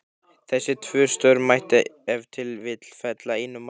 Þessi tvö störf mætti ef til vill fela einum manni.